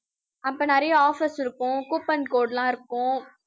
அப்ப நிறைய offers இருக்கும். coupon code எல்லாம் இருக்கும்